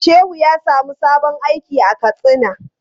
Shehu ya samu sabon aiki a Katsina.